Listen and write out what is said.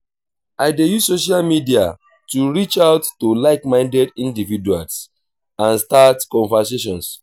i dey use social media to reach out to like-minded individuals and start conversations.